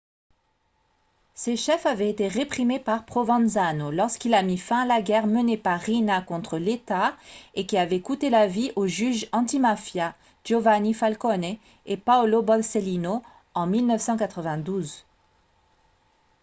ces chefs avaient été réprimés par provenzano lorsqu'il a mis fin à la guerre menée par riina contre l'état et qui avait coûté la vie aux juges antimafia giovanni falcone et paolo borsellino en 1992